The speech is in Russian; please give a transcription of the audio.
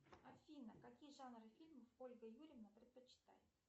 афина какие жанры фильмов ольга юрьевна предпочитает